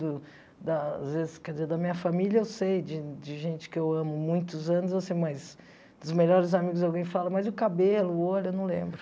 Do da às vezes, quer dizer, da minha família eu sei, de de gente que eu amo há muitos anos, eu sei mas dos melhores amigos alguém fala, mas o cabelo, o olho, eu não lembro.